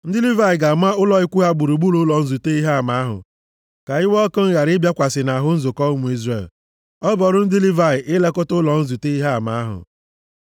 Ndị Livayị ga-ama ụlọ ikwu ha gburugburu ụlọ nzute Ihe Ama ahụ, ka iwe ọkụ m ghara ịbịakwasị nʼahụ nzukọ ụmụ Izrel. Ọ bụ ọrụ ndị Livayị ilekọta ụlọ nzute Ihe Ama ahụ.”